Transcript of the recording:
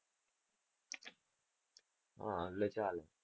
હા એટલે ચાલે.